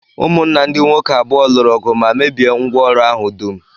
Ụmụnna ndị nwoke abụọ lụrụ ọgụ ma mebie ngwá ọrụ ahụ dum